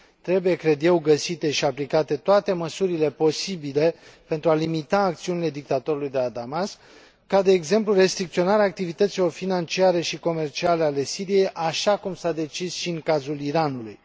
Trebuie, cred eu, găsite și aplicate toate măsurile posibile pentru a limita acțiunile dictatorului de la Damasc, ca, de exemplu, restricționarea activităților financiare și comerciale ale Siriei, așa cum s a decis și în cazul Iranului.